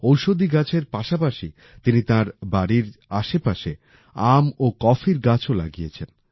ঔষধি গাছের পাশাপাশি তিনি তার বাড়ির আশেপাশে আম ও কফির গাছও লাগিয়েছেন